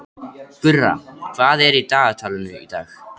Gurra, hvað er í dagatalinu í dag?